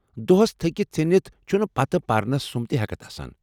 دۄہس تھٔکتھ ژھیٚنتھ چھنہٕ پتہٕ پرنس سٗمب تہ ہٮ۪کتھ آسان۔